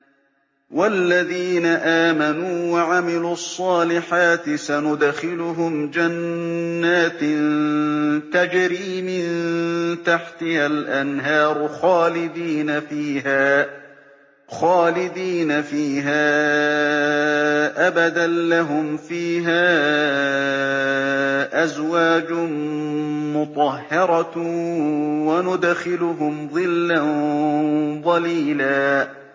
وَالَّذِينَ آمَنُوا وَعَمِلُوا الصَّالِحَاتِ سَنُدْخِلُهُمْ جَنَّاتٍ تَجْرِي مِن تَحْتِهَا الْأَنْهَارُ خَالِدِينَ فِيهَا أَبَدًا ۖ لَّهُمْ فِيهَا أَزْوَاجٌ مُّطَهَّرَةٌ ۖ وَنُدْخِلُهُمْ ظِلًّا ظَلِيلًا